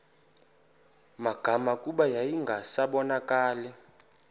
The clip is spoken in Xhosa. magama kuba yayingasabonakali